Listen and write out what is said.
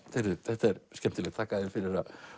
þetta er skemmtilegt þakka þér fyrir að